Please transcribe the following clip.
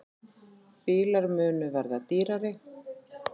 Bílar munu verða dýrari